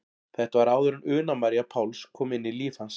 Þetta var áður en Una María Páls kom inn í líf hans.